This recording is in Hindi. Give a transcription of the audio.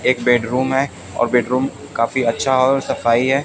एक बेडरूम है और बेडरूम काफी अच्छा और सफाई है।